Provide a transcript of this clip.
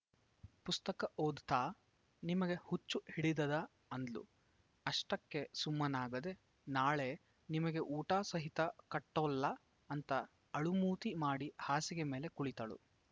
ಪುಸ್ತಕ ಓದತಾ ನಿಮಗ ಹುಚ್ಚ ಹಿಡದದ ಅಂದ್ಲು ಅಷ್ಟಕ್ಕೆ ಸುಮ್ಮನಾಗದೆ ನಾಳೆ ನಿಮಗೆ ಊಟಾ ಸಹಿತ ಕಟ್ಟೋಲ್ಲ ಅಂತ ಅಳುಮೂತಿ ಮಾಡಿ ಹಾಸಿಗೆ ಮೇಲೆ ಕುಳಿತಳು